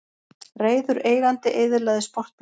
Reiður eigandi eyðilagði sportbíl